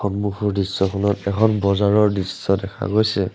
সন্মুখৰ দৃশ্যখনত এখন বজাৰৰ দৃশ্য দেখা গৈছে।